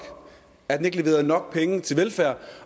at den ikke leverede nok penge til velfærd